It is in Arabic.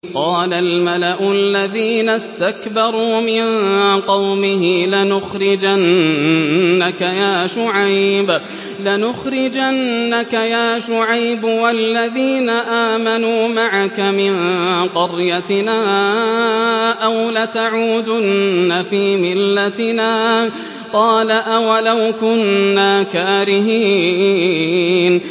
۞ قَالَ الْمَلَأُ الَّذِينَ اسْتَكْبَرُوا مِن قَوْمِهِ لَنُخْرِجَنَّكَ يَا شُعَيْبُ وَالَّذِينَ آمَنُوا مَعَكَ مِن قَرْيَتِنَا أَوْ لَتَعُودُنَّ فِي مِلَّتِنَا ۚ قَالَ أَوَلَوْ كُنَّا كَارِهِينَ